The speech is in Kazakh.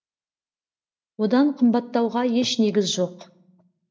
одан қымбаттауға еш негіз жоқ